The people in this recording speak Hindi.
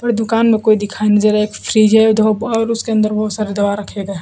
और दुकान में कोई दिखाई नहीं दे रहा एक फ्रिजर देखो और उसके अंदर बहुत सारे दवा रखे गए --